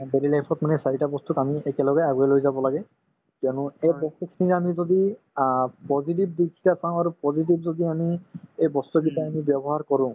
আমাৰ daily life ত মানে এই চাৰিটা বস্তুক আমি একেলগে আগুৱাই লৈ যাব লাগে কিয়নো এই বস্তুখিনি আমি যদি আ positive দিশে চাওঁ আৰু positive যদি আমি এই বস্তুকেইটা আমি ব্যৱহাৰ কৰো